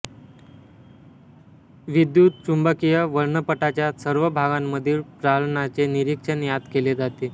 विद्युतचुम्बकीय वर्णपटाच्या सर्व भागांमधील प्रारणाचे निरीक्षण यात केले जाते